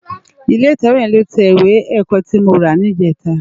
Ilé itèwé yèn ló tè iwé èkò ti mó rá nijètá